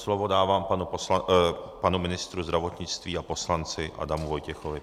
Slovo dávám panu ministru zdravotnictví a poslanci Adamu Vojtěchovi.